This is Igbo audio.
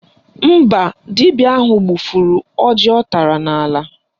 Mba, dibịa ahụ gbụfụrụ ọjị ọ tara n'ala